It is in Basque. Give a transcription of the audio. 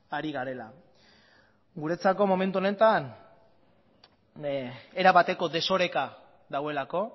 ari garela guretzako momentu honetan erabateko desoreka dagoelako